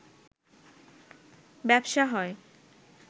ব্যবসা হয়